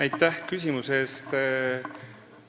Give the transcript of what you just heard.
Aitäh küsimuse eest!